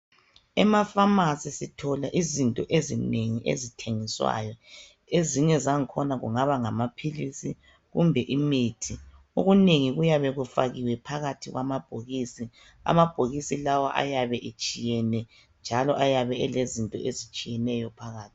Ema pharmacy sitholakala izinto ezinengi ezithengiswayo ezinye zakhona kungaba ngama philisi kumbe imithi. Okunengi kuyabe kufakiwe phakathi kwamabhokisi, amabhokisi lawa ayabe etshiyene njalo ayabe elezinto ezitshiyeneyo phakathi.